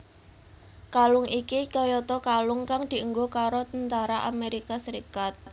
Kalung iki kayata kalung kang dienggo karo tentara Amérika Serikat